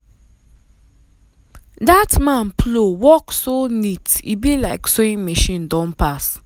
that man plow work so neat e be like sewing machine don pass.